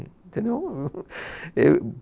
Entendeu? Êh, hum